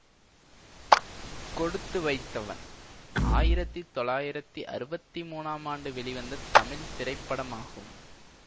கொடுத்து வைத்தவன் ஆயிரத்தி தொள்ளாயிரத்தி அறுபத்தி மூன்னாம் ஆண்டு வெளிவந்த தமிழ் திரைப்படமாகும்